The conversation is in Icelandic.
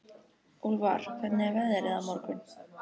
Úlfar, hvernig er veðrið á morgun?